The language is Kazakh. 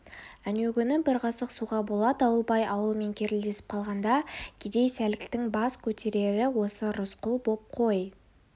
әнеукүні де бір қасық суға бола дауылбай ауылымен керілдесіп қалғанда кедей сәліктің бас көтерері осы рысқұл боп қой